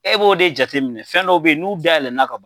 E b'o de jate minɛ fɛn dɔw bɛ yen n'u dayɛlɛɛlɛnna ka ban.